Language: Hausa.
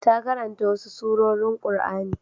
Ta karanta wasu surorin Qur'ani.